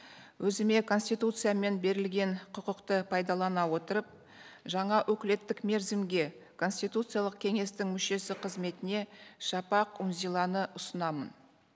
өзіме конституциямен берілген құқықты пайдалана отырып жаңа өкілеттік мерзімге конституциялық кеңестің мүшесі қызметіне шапақ үнзиланы ұсынамын